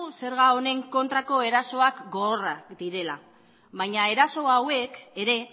zerga honen kontrako erasoak gogorrak direla baina eraso hauek ere